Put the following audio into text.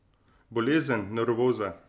Bolezen, nevroza.